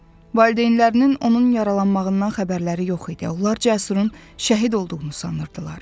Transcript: Valideynlərinin onun yaralanmağından xəbərləri yox idi, onlar Cəsurun şəhid olduğunu sanırdılar.